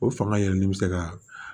O fanga yɛlɛli bɛ se ka